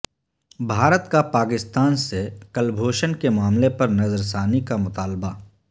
بھارت کا پاکستان سے کلبھوشن کے معاملے پر نظرثانی کامطالبہ